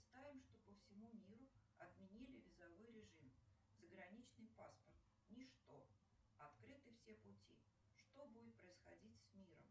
представим что по всему миру отменили визовой режим заграничный паспорт ничто открыты все пути что будет происходить с миром